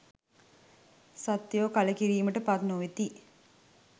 සත්වයෝ කලකිරීමට පත් නොවෙති.